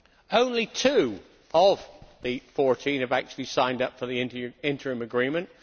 Only two of the 14 have actually signed up for the Interim Agreement.